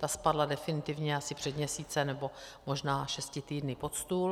Ta spadla definitivně asi před měsícem, nebo možná šesti týdny pod stůl.